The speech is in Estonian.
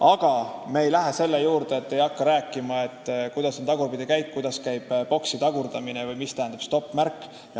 Aga me ei hakka rääkima, kuidas kasutada tagurpidikäiku, kuidas boksi tagurdada või mida tähendab stopp-märk.